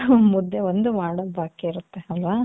ಮುದ್ದೆ ಒಂದ್ ಮಾಡೋದು ಬಾಕಿ ಇರುತ್ತೆ ಅಲ್ವ .